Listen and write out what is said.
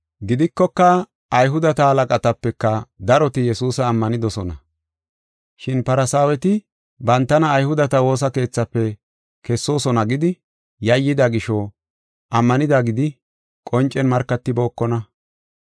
Gidikoka, Ayhudeta halaqatapeka daroti Yesuusa ammanidosona. Shin Farsaaweti bantana Ayhudeta Woosa Keethafe kessoosona gidi yayyida gisho ammanida gidi qoncen markatibookona.